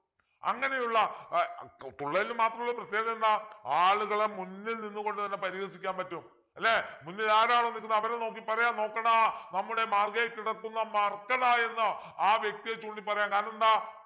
അങ്ങനെയുള്ള ഏർ തു തുള്ളലിൽ മാത്രമുള്ള പ്രത്യേകത എന്താ ആളുകളെ മുന്നിൽ നിന്നുകൊണ്ട് തന്നെ പരിഹസിക്കാൻ പറ്റും അല്ലെ മുന്നിൽ ആരാണോ നിക്കുന്നത് അവരെ നോക്കി പറയാം നോക്കെടാ നമ്മുടെ മാർഗ്ഗേ കിടക്കുന്ന മർക്കട എന്ന് ആ വ്യക്തിയെ ചൂണ്ടി പറയാം കാരണമെന്താ